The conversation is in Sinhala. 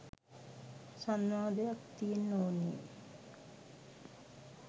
සංවාදයක් තියෙන්න ඕනේ.